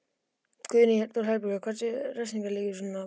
Guðný Helga Herbertsdóttir: Hversu þung refsing liggur við svona brotum?